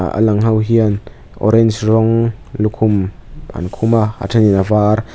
alang ho hian orange rawng lukhum an khum a a thenin avar --